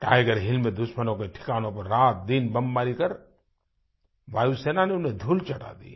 Tiger hill में दुश्मनों के ठिकानों में रातदिन बमबारी कर वायुसेना ने उन्हें धूल चटा दी